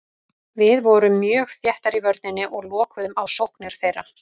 Við vorum mjög þéttar í vörninni og lokuðum á sóknir þeirra.